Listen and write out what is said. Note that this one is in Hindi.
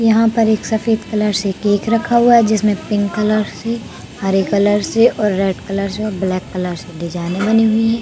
यहाँ एक सफेद कलर से केक रखा हुआ है। जिसमें पिंक कलर से हरे कलर से रेड कलर से और ब्लैक कलर से डिजाइने बनी हुई हैं।